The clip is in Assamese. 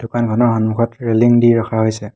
দোকানখনৰ সন্মুখত ৰেলিং দি ৰখা হৈছে।